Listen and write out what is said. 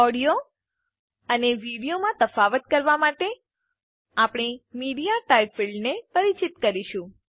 audio અને વિડીયોમાં તફાવત કરવા માટે આપણે મીડિયાટાઇપ ફીલ્ડ ક્ષેત્રને પરિચિત કરીશું